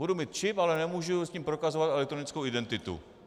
Budu mít čip, ale nemůžu s ním prokazovat elektronickou identitu.